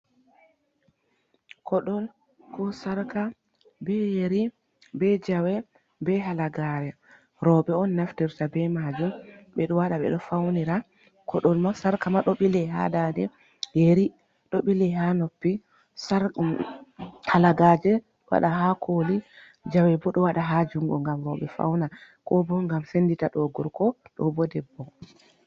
Kodol ko Sarka be Yeri be Jawe be Halagare roɓe on naftirta be majum ɓe ɗo waɗa ɓe ɗo faunira Kodol ma Sarka ma ɗo bile ha dande, Yeri ɗo bilei ha noppi, Halagaje waɗa ha koli, Jawe bo ɗo waɗa ha jungo ngam roɓe fauna ko bo ngam sendita ɗo gorko, ɗo bo debbo.